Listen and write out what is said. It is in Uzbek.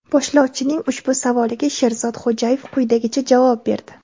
Boshlovchining ushbu savoliga Sherzod Xo‘jayev quyidagicha javob berdi.